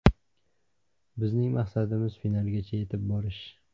Bizning maqsadimiz finalgacha yetib borish.